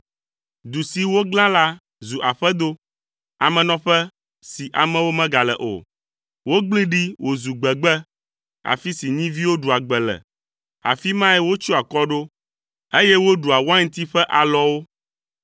Du si woglã la zu aƒedo, amenɔƒe si amewo megale o. Wogblẽe ɖi wòzu gbegbe, afi si nyiviwo ɖua gbe le; afi mae wotsyɔa akɔ ɖo, eye woɖua wainti ƒe alɔwo